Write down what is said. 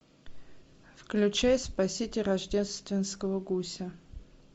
включай спасите рождественского гуся